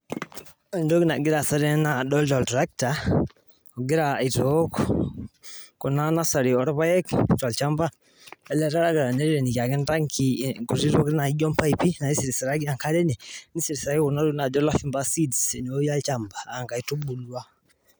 ore enagira aasa tenewueji naa oltractor ogira abukoki enkare ena nursery ooorpayek enkare amuu ketii impaipi naisirisiraki enkare